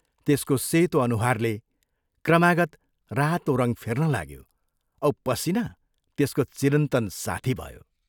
त्यसको सेतो अनुहारले क्रमागत रातो रङ्ग फेर्न लाग्यो औ पसीना त्यसको चिरन्तन साथी भयो।